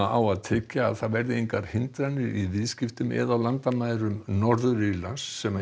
á að tryggja að engar hindranir verði í viðskiptum eða á landamærum Norður Írlands sem